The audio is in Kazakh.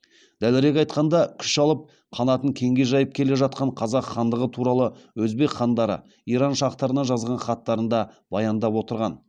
дәлірек айтқанда күш алып қанатын кеңге жайып келе жатқан қазақ хандығы туралы өзбек хандары иран шахтарына жазған хаттарында баяндап отырған